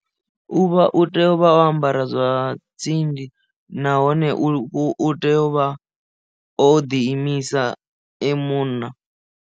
U vha u tea u vha o ambara zwa tsindi nahone u tea u vha o ḓi imisa e munna.